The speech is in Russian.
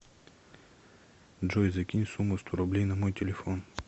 джой закинь сумму сто рублей на мой телефон